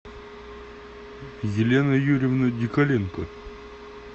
елена юрьевна николенко